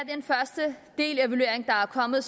kommet